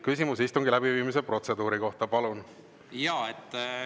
Küsimus istungi läbiviimise protseduuri kohta, palun!